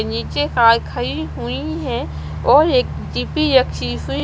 नीचे कार खली हुई है और एक --